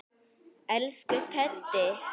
Elsku Teddi.